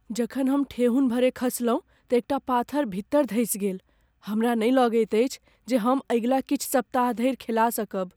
जखन हम ठेहुन भरे खसलहुँ तँ एकटा पाथर भीतर धरि धँसि गेल। हमरा नहि लगैत अछि जे हम अगिला किछु सप्ताह धरि खेला सकब।